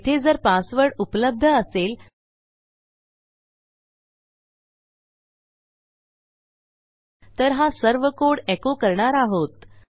येथे जर पासवर्ड उपलब्ध असेल तर हा सर्व कोड एको करणार आहोत